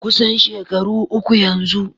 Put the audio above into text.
Kusan shekaru uku yanzu.